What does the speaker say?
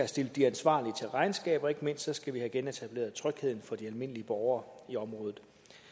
stillet de ansvarlige til regnskab og ikke mindst skal vi have genetableret trygheden for de almindelige borgere i området